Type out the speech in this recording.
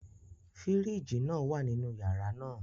Firiji naa wa ninu yara naa